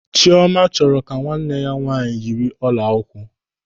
Chiọma chọrọ ka nwanne ya nwaanyị yiri ọla ụkwụ.